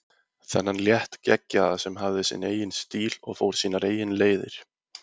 Þennan léttgeggjaða sem hafði sinn eigin stíl og fór sínar eigin leiðir.